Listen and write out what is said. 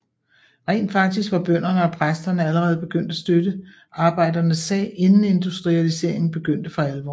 Rent faktisk var bønderne og præsterne allerede begyndt at støtte arbejdernes sag inden industrialiseringen begyndte for alvor